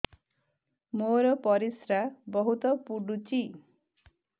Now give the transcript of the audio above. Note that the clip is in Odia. ମୋର ପରିସ୍ରା ବହୁତ ପୁଡୁଚି